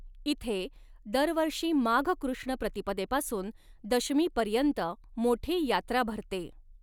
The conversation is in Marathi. इथे दरवर्षी माघ कॄष्ण प्रतिपदेपासून दशमीपर्यंत मोठी यात्रा भरते.